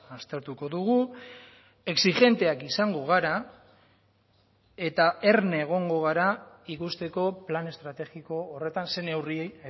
aztertuko dugu exijenteak izango gara eta erne egongo gara ikusteko plan estrategiko horretan ze neurriei